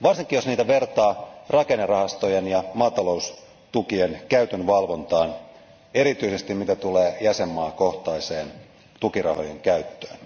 Varsinkin jos niitä vertaa rakennerahastojen ja maataloustukien käytön valvontaan, erityisesti mitä tulee jäsenmaakohtaiseen tukirahojen käyttöön.